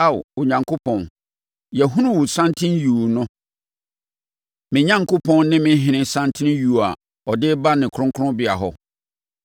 Ao Onyankopɔn, yɛahunu wo santen yuu no, me Onyankopɔn ne me Ɔhene santen yuu no a ɔde reba ne kronkronbea hɔ.